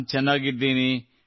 ನಾನು ಚೆನ್ನಾಗಿದ್ದೇನೆ